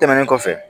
Tɛmɛnen kɔfɛ